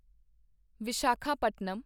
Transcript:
Visakhapatnam